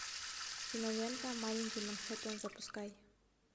кинолента маленький манхэттен запускай